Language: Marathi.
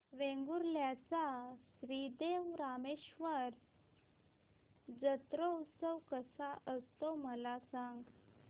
वेंगुर्ल्या चा श्री देव रामेश्वर जत्रौत्सव कसा असतो मला सांग